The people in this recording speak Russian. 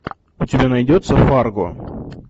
у тебя найдется фарго